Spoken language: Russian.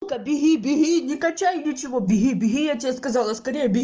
бери бери не качает ничего я тебе сказала